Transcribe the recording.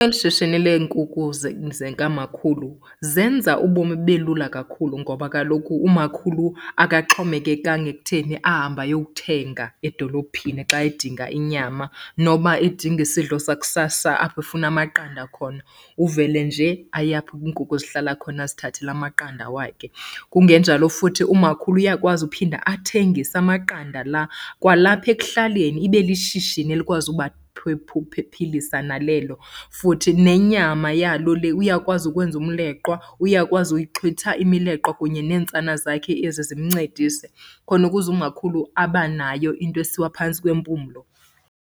Eli shishini leenkunku zikamakhulu zenza ubomi bube lula kakhulu ngoba kaloku umakhulu akaxhomekekanga ekutheni ahambe ayowuthenga edolophini xa edinga inyama noba edinga isidlo sakusasa apho efuna amaqanda khona. Uvele nje aye apho iinkukhu zihlala khona azithathele amaqanda wakhe. Kungenjalo futhi umakhulu uyakwazi uphinda athengise amaqanda la kwalapha ekuhlaleni, ibe lishishini elikwazi ukuba philisa nalo elo. Futhi nenyama yalo le uyakwazi ukwenza umleqwa, uyakwazi uyixhwitha imileqwa kunye neentsana zakhe ezi zimncedise, khona ukuze umakhulu abe nayo into esiwa phantsi kwempumlo.